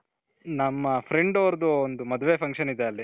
ನಮ್ಮ friend ಅವರ್ದು ಒಂದು ಮದ್ವೆ function ಇದೆ ಅಲ್ಲಿ .